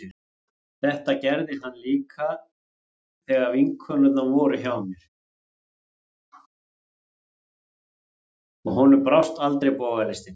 Þetta gerði hann líka þegar vinkonurnar voru hjá mér, og honum brást aldrei bogalistin.